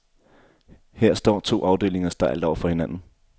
Her står to afdelinger stejlt over for hinanden.